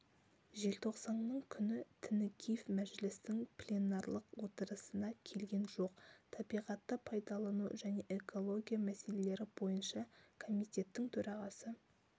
желтоқсанның күні тінікеев мәжілістің пленарлық отырысына келген жоқ табиғатты пайдалану және экология мәселелері бойынша комитеттің төрағасы